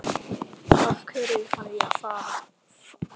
Af hverju þarf ég að fara?